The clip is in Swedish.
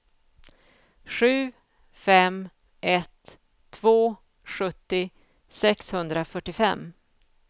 sju fem ett två sjuttio sexhundrafyrtiofem